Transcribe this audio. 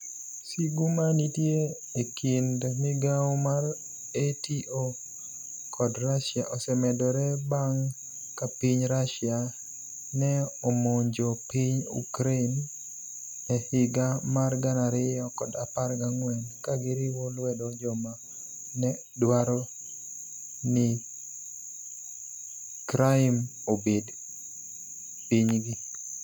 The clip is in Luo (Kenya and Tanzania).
Sigu ma niitie e kinid migao mar niATO kod Russia osemedore banig ' ka piniy Russia ni e omonijo piniy Ukraini e e higa mar 2014 ka giriwo lwedo joma ni e dwaro nii Crimea obed piniygi.